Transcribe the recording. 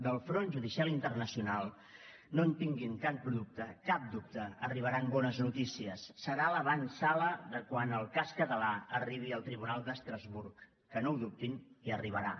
del front judicial internacional no en tinguin cap dubte arribaran bones noticies serà l’avantsala de quan el cas català arribi al tribunal d’estrasburg que no ho dubtin hi arribarà